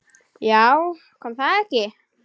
Já, kom það ekki!